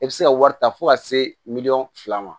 I bɛ se ka wari ta fo ka se miliyɔn fila ma